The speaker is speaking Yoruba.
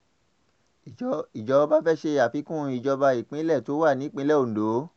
ìjọba fẹ́ẹ́ ṣe àfikún ìjọba ìbílẹ̀ tó wà nípìnlẹ̀ ondo